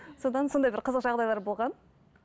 содан сондай бір қызық жағдайлар болған